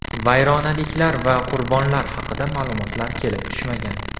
Vayronaliklar va qurbonlar haqida ma’lumotlar kelib tushmagan.